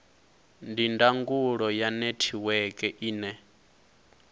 ndi ndangulo ya netiweke ine